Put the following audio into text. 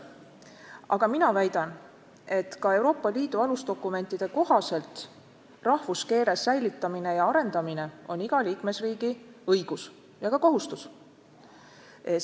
Aga mina väidan, et ka Euroopa Liidu alusdokumentide tõlkimisel rahvuskeele säilitamine ja arendamine on iga liikmesriigi õigus ja ka kohustus.